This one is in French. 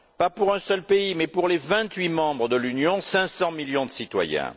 Pas pour un seul pays mais pour les vingt huit membres de l'Union, 500 millions de citoyens.